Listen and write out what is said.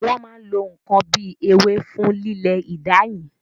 Wọn máa ń lo n kan bíi ewé fún lílé ìdáyìn.